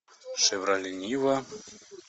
шевроле нива